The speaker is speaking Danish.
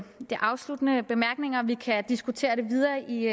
de afsluttende bemærkninger vi kan diskutere det videre i